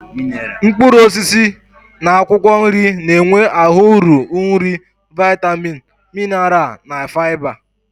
Mkpuruosisi na akwokwo nri na-enwe ahu uru nri viatamin, minaral na fiaba